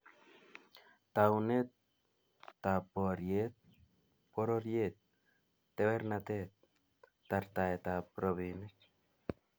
Taunetab boriet, pororiet, tewernatet, tartaetab robinik